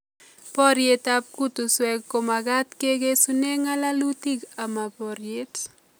Poryet ap kutuswek ko makat kekesune ng'alalutik ama poryet.